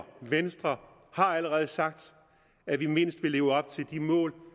venstre har allerede sagt at vi mindst vil leve op til de mål